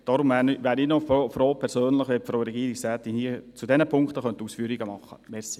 Deshalb wäre ich persönlich noch froh, wenn die Frau Regierungsrätin zu diesen Punkten Ausführungen machen könnte.